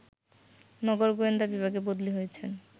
নগর গোয়েন্দা বিভাগে বদলি হয়েছেন